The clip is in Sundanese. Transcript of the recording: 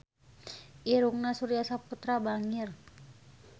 Irungna Surya Saputra bangir